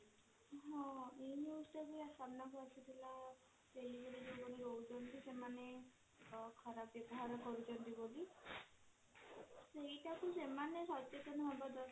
ହଁ ଏଇ news ଟା ବି ସାମ୍ନା କୁ ଆସିଥିଲା delivery ଯଉ ମାନେ ଦଉଛନ୍ତି ସେମାନେ ଖରାପ ବ୍ୟବହାର କରୁଛନ୍ତି ବୋଲି ସେଇଟା ବି ସେମାନେ ସଚେତନ ହବା ଦରକାର